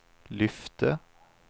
lyfte